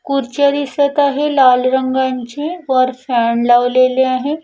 कुर्च्या दिसत आहे लाल रंगांची वर फॅन लावलेले आहे.